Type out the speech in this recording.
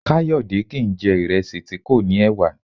Kayode kìí n jẹ̀ ìrẹsì tí kò ní ẹ̀wà